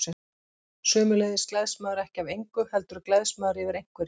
Sömuleiðis gleðst maður ekki af engu, heldur gleðst maður yfir einhverju.